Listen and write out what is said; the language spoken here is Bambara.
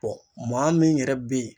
maa min yɛrɛ bɛ yen.